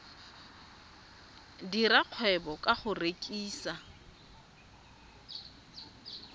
dira kgwebo ka go rekisa